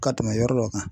Ka tɛmɛ yɔrɔ dɔ kan